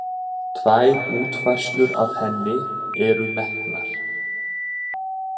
Tvær útfærslur af henni eru metnar